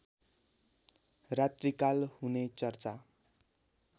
रात्रिकाल हुने चर्चा